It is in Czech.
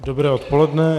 Dobré odpoledne.